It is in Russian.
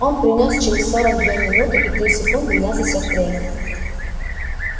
он принёс через сорок две минуты и три секунды я засёк время